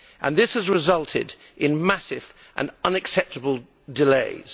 This has resulted in massive and unacceptable delays.